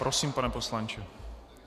Prosím, pane poslanče.